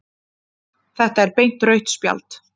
Þetta er beint rautt spjald